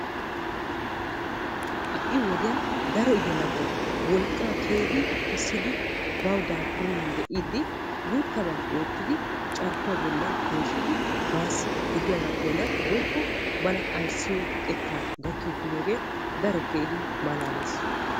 Ha'i wodiyaan daro yelagay wolqqa keehin kessidi baw daafurenan diidi guuttaba oottidi carkkuwaa bollan peeshshidi bassi gidiyaaga keena woykko bana ayssiyo xekka gaki uttidooge daro keehi malaalees.